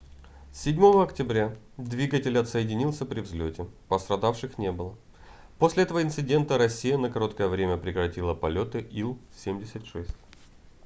7 октября двигатель отсоединился при взлёте пострадавших не было после этого инцидента россия на короткое время прекратила полёты ил-76